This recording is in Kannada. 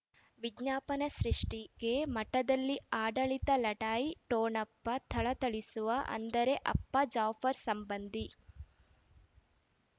ವಿಜ್ಞಾಪನೆ ಸೃಷ್ಟಿಗೆ ಮಠದಲ್ಲಿ ಆಡಳಿತ ಲಢಾಯಿ ಠೊಣಪ ಥಳಥಳಿಸುವ ಅಂದರೆ ಅಪ್ಪ ಜಾಫರ್ ಸಂಬಂಧಿ